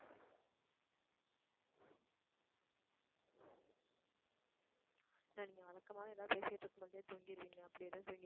அஹ் நீங்க வழக்கமாவே எதாவது பேசிட்டு இருக்கும் போதே தூங்கிடுவீங்க. அப்பிடி எதாவது